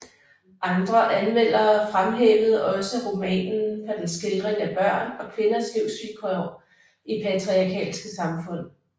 Andre anmeldere fremhævede også romanen for dens skildring af børn og kvinders livsvilkår i patriarkalske samfund